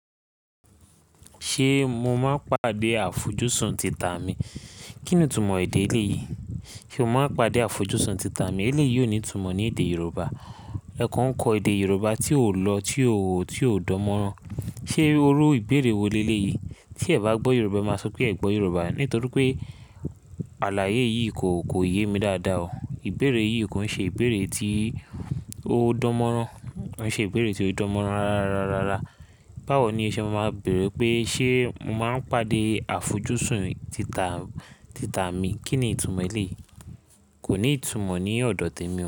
Ṣé mo máa pàdé àfojúsùn títà mi? Kí ni ìtumọ̀ èdè eléyìí? Ṣé o máa pàdé àfojúsùn títà mi? Èléyìí ò ní ìtumọ̀ ní èdè Yorùbá. Ẹ̀ẹ̀kan kọ èdè Yorùbá tí ò lọ, tí ò, tí ò dán mọ́rán. Ṣé irú ìbéèrè wo lé léyìí? Tí ẹ̀ bá gbọ́ Yorùbá máa sọ pé ẹ̀ gbọ́ Yorùbá. Nítorí pé àlàyé yìí kò, kò yé mi dáadáa o. Ìbéèrè yìí kò ń ṣe ìbéèrè tí ó dán mọ́rán. Kò ń ṣe ìbéèrè tí ó dán mọ́rán rárá, rárá, rárá. Báwo ni o ṣẹ́ ma máa béèrè pé ṣe mo máa n pàdé àfojúsùn títà, títà mi? Kí ni ìtumọ̀ eléyìí? Kò ní ìtumọ̀ ní ọ̀dọ̀ tèmi o.